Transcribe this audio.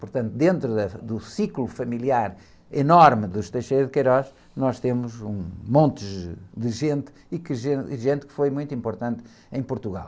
Portanto, dentro da, do ciclo familiar enorme dos, nós temos um monte de, de gente e, e gente que foi muito importante em Portugal.